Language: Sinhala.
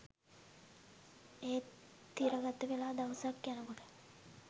ඒත් තිරගතවෙලා දවසක් යනකොට